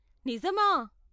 నిజమా!?